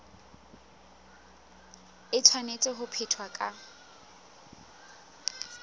e tshwanetse ho phethwa ka